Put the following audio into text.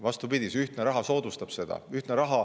Vastupidi, see ühtne raha soodustab seda.